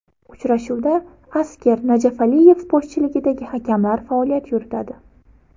Uchrashuvda Asker Najafaliyev boshchiligidagi hakamlar faoliyat yuritadi.